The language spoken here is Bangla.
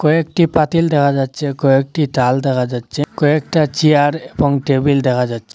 কয়েকটি পাতিল দেখা যাচ্ছে কয়েকটি ডাল দেখা যাচ্ছে কয়েকটা চেয়ার এবং টেবিল দেখা যাচ্ছে।